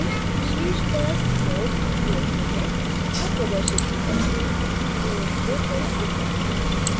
शीर्ष पर nodes जोड़ते हैं add प्रदर्शित की तरह nodes को थोड़ा ऊपर लाएं